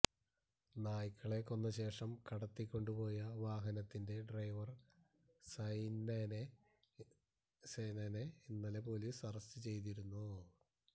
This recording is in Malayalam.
നായ്ക്കളെ കൊന്നശേഷം കടത്തിക്കൊണ്ടുപോയ വാഹനത്തിന്റെ ഡ്രൈവര് സൈനനെ ഇന്നലെ പോലീസ് അറസ്റ്റ് ചെയ്തിരുന്നു